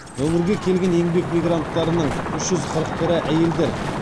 өңірге келген еңбек мигранттарының үш жүз қырық бірі әйелдер